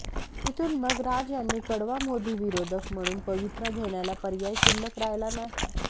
तिथून मग राज यांनी कडवा मोदी विरोधक म्हणून पवित्रा घेण्याला पर्याय शिल्लक राहिला नाही